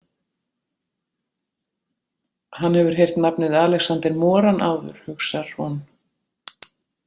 Hann hefur heyrt nafnið Alexander Moran áður, hugsar hún.